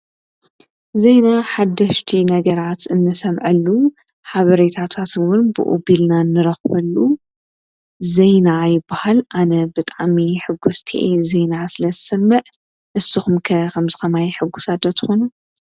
ዜና ሓደሽቲ ነገራት እንሰምዓሉ ሓበሬታታት እውን ብኡቢልና ንረኽበሉ ዜና ይበሃል ኣነ ብጣዕሚ ሕጉስቲ እየ ዜና ስለዝሰምዕ እስኹም ከ ከምዝኸማይ ሕጉሳትዶ ትኹኑ?